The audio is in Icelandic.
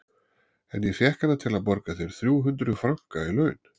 En ég fékk hana til að borga þér þrjú hundruð franka í laun.